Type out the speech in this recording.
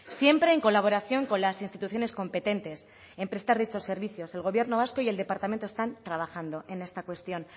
siempre en colaboración con las instituciones competentes en prestar dichos servicios el gobierno vasco y el departamento están trabajando en esta cuestión